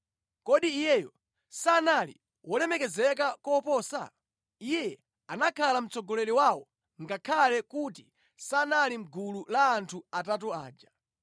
Kodi iyeyo sanali wolemekezeka koposa? Iye anakhala mtsogoleri wawo ngakhale kuti sanali mʼgulu la anthu atatu aja.